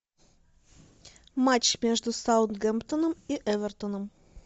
матч между саутгемптоном и эвертоном